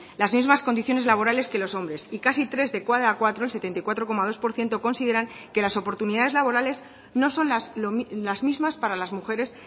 las mismas condiciones laborales que los hombres y casi tres de cada cuatro el setenta y cuatro coma dos por ciento consideran que las oportunidades laborales no son las mismas para las mujeres